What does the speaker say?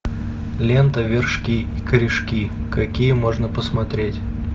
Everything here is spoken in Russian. лента вершки корешки какие можно посмотреть